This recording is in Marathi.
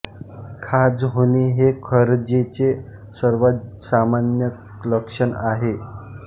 खाज होणे हे खरजेचे सर्वात सामान्य लक्षण आहे